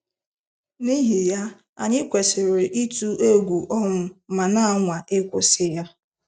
N'ihi ya, anyị kwesịrị ịtụ egwu ọnwụ ma na-anwa ịkwụsị ya.